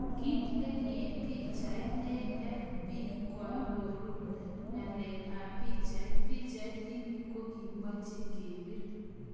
Kit nekip pichait, AFP koarorun ngalek ap pichait, pichait ini ko kikimache kepir.